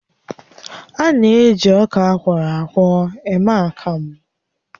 A na-eji ọka akwọrọ akwọ eme akamụ